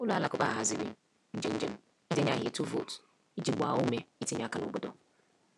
Ụlọ alakụba ha haziri njem njem ịdenye aha ịtụ vootu iji gbaa ume itinye aka n’obodo.